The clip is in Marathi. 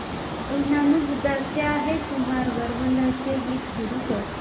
ऋणानुबंधाच्या हे कुमार गंधर्वांचे गीत सुरू कर